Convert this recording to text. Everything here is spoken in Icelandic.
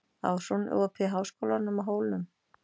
Ásrún, er opið í Háskólanum á Hólum?